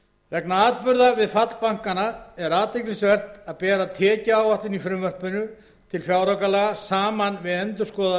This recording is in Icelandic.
vegna atburða við fall bankanna er athyglisvert að bera tekjuáætlun í frumvarpi til fjáraukalaga saman við endurskoðaða